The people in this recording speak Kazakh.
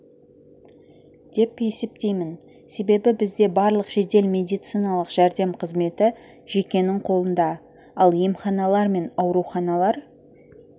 деп есептеймін себебі бізде барлық жедел медициналық жәрдем қызметі жекенің қолында ал емханалар мен ауруханалар